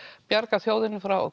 bjarga þjóðinni frá